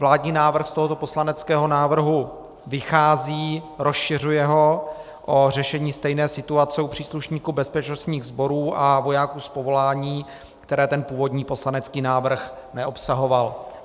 Vládní návrh z tohoto poslaneckého návrhu vychází, rozšiřuje ho o řešení stejné situace u příslušníků bezpečnostních sborů a vojáků z povolání, které ten původní poslanecký návrh neobsahoval.